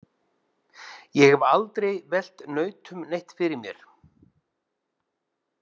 Ég hef aldrei velt nautum neitt fyrir mér.